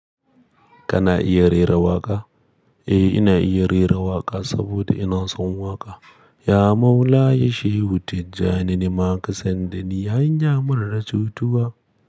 Kana iya rera waƙa? Eh ina iya rera waƙa saboda ina son waƙa. Ya maula ya shehu tijjani nima kasan dani hanya mara cutuwa.